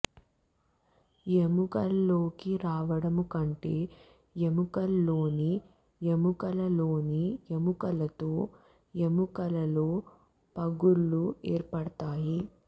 ఎముకలలోకి రావడము కంటే ఎముకలలోని ఎముకలలోని ఎముకలలో ఎముకలలో పగుళ్ళు ఏర్పడతాయి